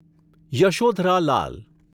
Yashodhara Lal